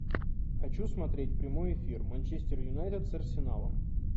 хочу смотреть прямой эфир манчестер юнайтед с арсеналом